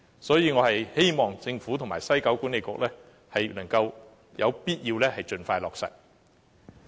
所以，我希望政府及西九文化區管理局能夠盡快落實，這亦是有必要的。